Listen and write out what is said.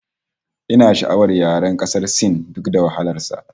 Ina sha'awar yaren ƙasar Sin duk da alamun wahalar sa